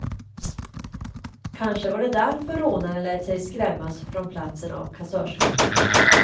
Kanske var det därför rånaren lät sig skrämmas från platsen av kassörskan.